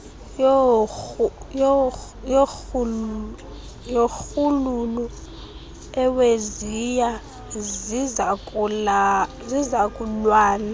yorhuululu iweziya zizukulwana